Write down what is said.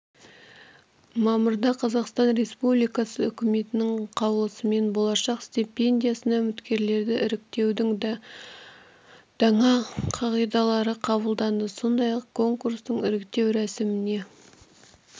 мамырда қазақстан республикасы үкіметінің қаулысымен болашақ стипендиясына үміткерлерді іріктеудің даңа қағидалары қабылданды сондай-ақ конкурстық іріктеу рәсіміне